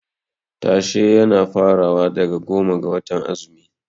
Tashe yana farawa daga goma ga watan azumi.